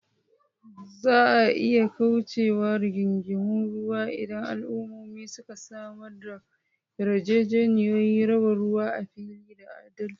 Za a iya kauce wa rigingimun ruwa idan al’ummomi suka samar da yarjejeniyoyin raba ruwa a fili da adalci.